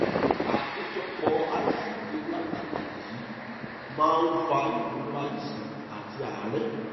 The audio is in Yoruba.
àkójọpọ asidi lactic yìí máa ń fa ìrora iṣan àti àárẹ